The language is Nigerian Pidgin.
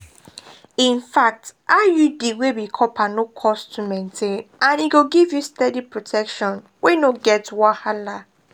infact iud wey be copper no cost to maintain and e go give you steady protection wey no get wahala.